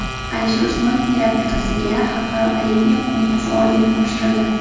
Alisher Usmonovning rafiqasiga Xalqaro olimpiya qo‘mitasi ordeni topshirildi.